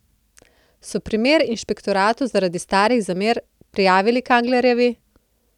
So primer inšpektoratu zaradi starih zamer prijavili Kanglerjevi?